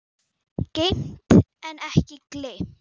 Geymt en ekki gleymt!